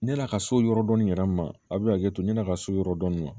Ne n'a ka so yɔrɔ dɔni yɛrɛ ma a bɛ hakɛ to ne n'a ka so yɔrɔ dɔni ma